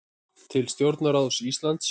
Til stjórnarráðs Íslands